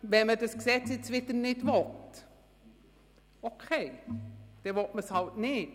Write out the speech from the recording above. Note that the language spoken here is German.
Wenn man dieses Gesetz nun wieder nicht will, dann will man es halt nicht.